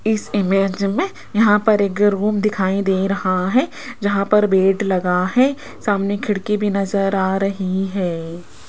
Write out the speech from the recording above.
इस इमेज में यहां पर एक रूम दिखाई दे रहा है जहां पर बेड लगा है सामने खिड़की भी नजर आ रही है।